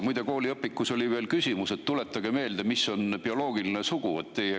Muide, ühes kooliõpikus oli veel küsimus: tuletage meelde, mis on bioloogiline sugu.